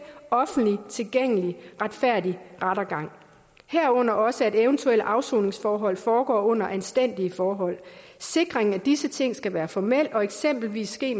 offentligt tilgængelig og retfærdig rettergang herunder også at eventuelle afsoningsforhold foregår under anstændige forhold sikringen af disse ting skal være formel og eksempelvis ske